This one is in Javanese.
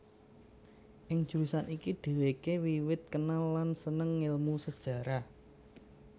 Ing jurusan iki dhèwèké wiwit kenal lan sênêng ngélmu Sejarah